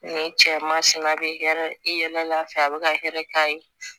Nin cɛman sin na a bɛ hɛrɛ i yɛrɛ la fɛ a bɛ ka hɛrɛ k'a ye